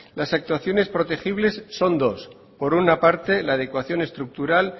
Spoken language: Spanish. las actuaciones protegibles son dos por una parte la adecuación estructural